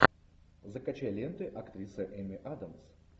закачай ленты актрисы эми адамс